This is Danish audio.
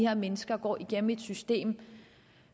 her mennesker går igennem et system